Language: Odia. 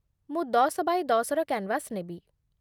ମୁଁ ଦଶ ବାୟେ ଦଶ ର କ୍ୟାନ୍‌ଭାସ୍ ନେବି ।